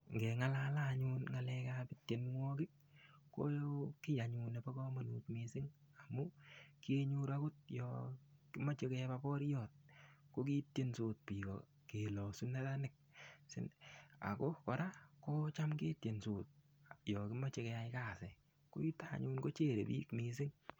Ngeng'alale anyun Ng'alekab tienwokik ko kii anyun nebo komonut mising' amu kiyenyoru akot yo komochei kebab boriot ko kiityensot biko kelosu neranik ako kora kocham ketyensot yo kimochei keyai kasi ko yuto anyun kocherei biik mising'